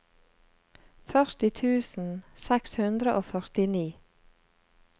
førti tusen seks hundre og førtini